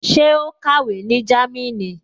Ṣé ó kàwé ní Jámínì?